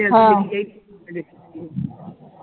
ਹਾਂ